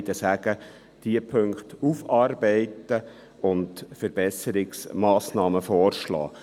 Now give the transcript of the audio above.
Beide sagen: Diese Punkte aufarbeiten und Verbesserungsmassnahmen vorschlagen.